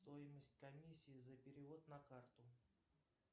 стоимость комиссии за перевод на карту